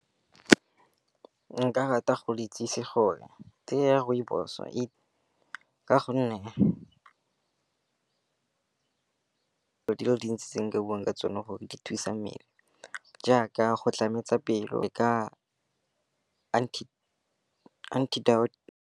Nka rata go le itsise gore tee ya rooibos-o ka gonne di le dintsi tse nka bua ka tsone gore di thusa mmele jaaka go tlametswe pelo, e ka .